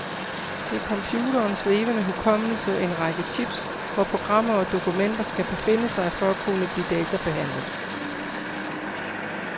Det er computerens levende hukommelse, en række chips, hvor programmer og dokumenter skal befinde sig for at kunne blive databehandlet.